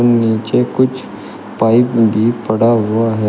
नीचे कुछ पाइप भी पड़ा हुआ है।